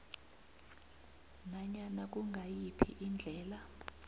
nanyana kungayiphi indlela